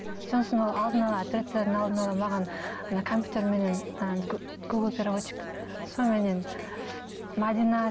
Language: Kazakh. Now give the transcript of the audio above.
сосын ол алдын ала операциядан алдын ала маған ана компьютерменен гугл переводчик соныменен мәдина